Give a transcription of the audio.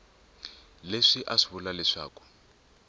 leswi a swi vula leswaku